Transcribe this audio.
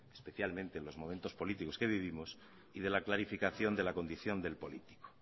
especialmente en los momentos políticos que vivimos y de la clarificación de la condición del político